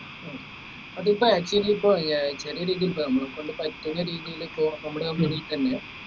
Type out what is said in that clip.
ഹും അതിപ്പോ actually ഇപ്പൊ ചെറിയ രീതിയിൽ ഇപ്പൊ നമ്മളെകൊണ്ട് പറ്റുന്ന രീതീയിൽ ഇപ്പോ നമ്മളെ